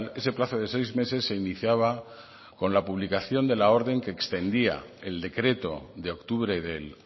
ese plazo de seis meses se iniciaba con la publicación de la orden que extendía el decreto de octubre del